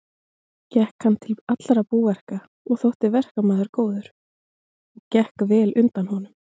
Gekk hann til allra búverka og þótti verkmaður góður og gekk vel undan honum.